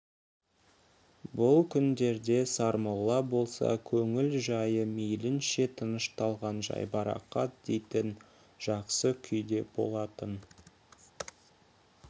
бұл күндерде сармолла болса көңіл жайы мейлінше тынышталған жайбарақат дейтін жақсы күйде болатын